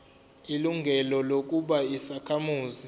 ilungelo lokuba yisakhamuzi